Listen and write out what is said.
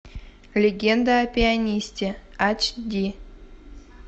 легенда о пианисте ач ди